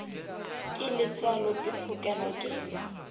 ke letswalo ke fokelwa ke